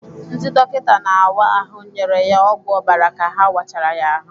Ndị dọkịta na-áwá ahụ nyere ya ọgwụ ọbara ka ha wachara ya ahụ.